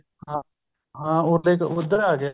ਹਾਂ ਹਾਂ ਉਹਦੇ ਚ ਉੱਧਰ ਆ ਗਿਆ